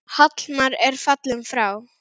Hallmar er fallinn frá.